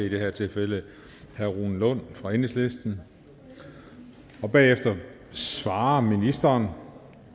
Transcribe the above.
i det her tilfælde herre rune lund fra enhedslisten bagefter svarer ministeren